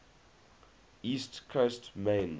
east coast maine